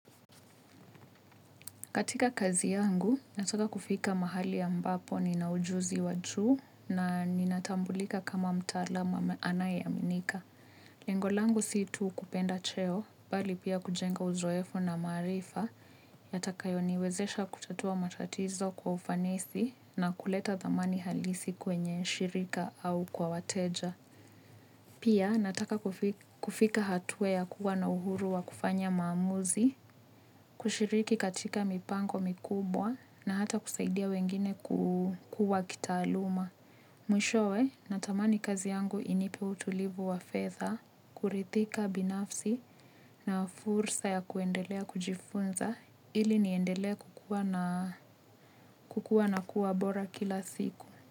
Katika kazi yangu, nataka kufika mahali ya ambapo ninaujuzi wajuu na ninatambulika kama mtaalamu anaye aminika. Lengo langu si tu kupenda cheo, bali pia kujenga uzoefu na maarifa, yatakayo niwezesha kutatua matatizo kwa ufanisi na kuleta dhamani halisi kwenye shirika au kwa wateja. Pia nataka kufika hatua ya kuwa na uhuru wa kufanya maamuzi, kushiriki katika mipango mikubwa na hata kusaidia wengine kukua kitaaluma. Mwishowe, natamani kazi yangu inipe utulivu wa fedha, kuridhika binafsi na fursa ya kuendelea kujifunza ili niendelea kukua na kuwa bora kila siku.